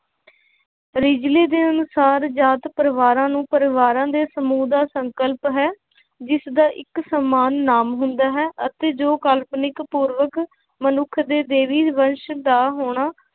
ਦੇ ਅਨੁਸਾਰ ਜਾਤ ਪਰਿਵਾਰਾਂ ਨੂੰ ਪਰਿਵਾਰਾਂ ਦੇ ਸਮੂਹ ਦਾ ਸੰਕਲਪ ਹੈ ਜਿਸਦਾ ਇੱਕ ਸਮਾਨ ਨਾਮ ਹੁੰਦਾ ਹੈ ਅਤੇ ਜੋ ਕਾਲਪਨਿਕ ਪੂਰਵਕ ਮਨੁੱਖ ਦੇ ਦੇਵੀ ਵਰਸ਼ ਦਾ ਹੋਣਾ